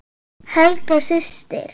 Helga systir.